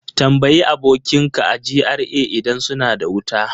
Tambayi abokinka a GRA idan suna da wuta!